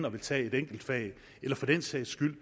at tage et enkelt fag og for den sags skyld